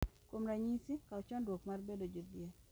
Kuom ranyisi, kaw chandruok mar bedo jodhier.